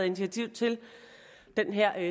initiativ til det her